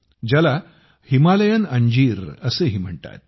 त्याला हिमालयन अंजीर असेही म्हणतात